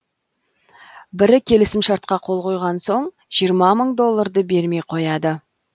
бірі келісімшартқа қол қойған соң жиырма мың долларды бермей қояды